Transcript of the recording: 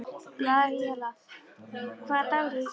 Laíla, hvaða dagur er í dag?